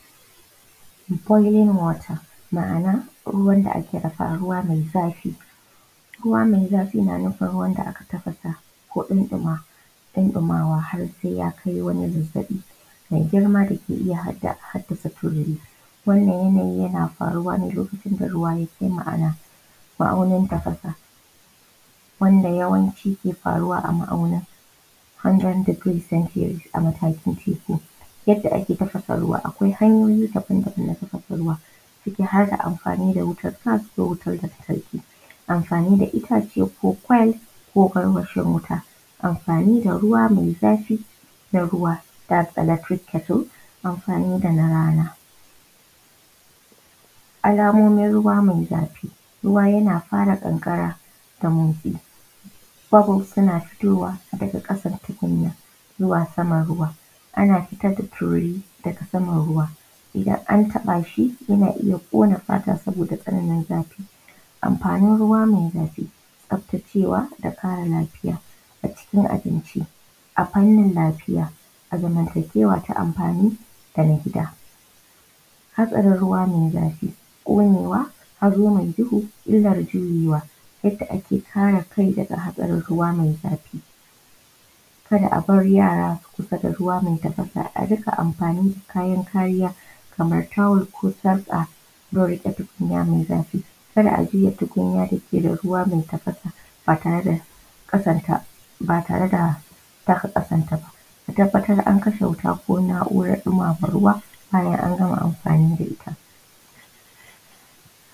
Boiling water ma'ana ruwan dake dafawa ruwa mai zafi. Ruwa mai zafi na nufin ruwan da aka tafasa ko aka ɗinɗima har sai ya kai wani mataki mai girma da haddasa tururi, wannan yanayi yana faruwa a lokacin da ruwa ya kai ma'aunin tafasa wanda yake faruwa a ma'auni 100° Celsius. Yadda ake tafasa ruwa akwai hanyoyi daban-daban na tafasa ruwa ciki har akwai amfani da wutar gas da wutar lantarki da itace ko coal ko garwashin wuta. Amfani da ruwa mai zafi, kettle da rana. Alamomin ruwa mai zafi, ruwa yana fara kankara da motsi za a ga wasu na fitowa daga ƙasar tukunyar zuwa saman ruwan, ana fitar da tururi zuwa saman ruwan idan an taba shi zai iya kona fata saboda tsananin zafi. Amfanin ruwa mai zafi. Tsaftacewa da kuma kara lafiya a cokin abinci a fannin lafiya a zamntakewa ta amfani da na gida. Hadarin ruwa mai zafi, ƙonewa, hazo mai duhu illar juyewa. Yadda ake kare kai daga jaɗarin ruwa mai zafi kar a bar yara su kusanci ruwa mai tafasa, saka amfani kayan kariya kamar towel domin rufe ruwa mai zafi, kar ajuye tukunya mai ruwa mai tafasa ba tare da dafe kasanta ba. A tabbatar an kashe wuta ko naurar ɗimama ruwa bayan ana gama amfi da ita.